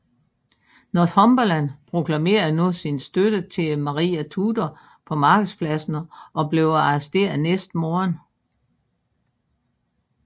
Northumberland proklamerede nu sin støtte til Maria Tudor på markedspladsen og blev arresteret næste morgen